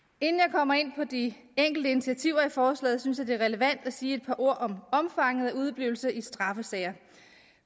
kommer ind på de enkelte intiativer i forslaget synes jeg det er relevant at sige et par ord om omfanget af udeblivelse i straffesager